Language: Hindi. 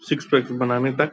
सिक्स पैकस बनाने तक --